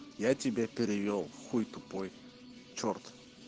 я тебе перевёл хуй тупой черт